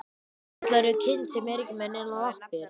Hvað kallarðu kind sem er ekki með neinar lappir?